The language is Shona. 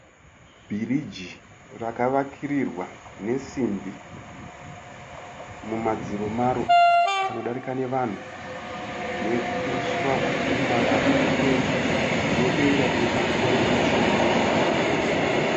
Bhiriji rakavakirirwa nesimbi, mumadziro maro panodarika nevanhu, neusswa wakaomarara uri mberi, nedenga rine makore machena.